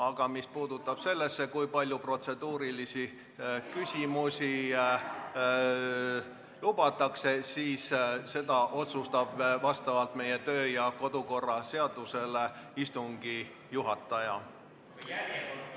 Aga mis puudutab seda, kui palju protseduurilisi küsimusi lubatakse, siis selle otsustab vastavalt meie kodu- ja töökorra seadusele istungi juhataja.